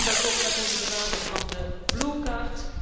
We doen dat ook met onze benadering van de blue card